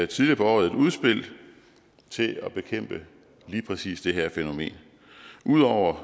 tidligere på året et udspil til at bekæmpe lige præcis det her fænomen ud over